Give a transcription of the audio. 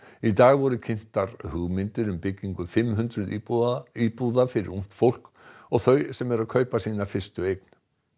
í dag voru kynntar hugmyndir um byggingu fimm hundruð íbúða íbúða fyrir ungt fólk og þau sem eru að kaupa sína fyrstu eign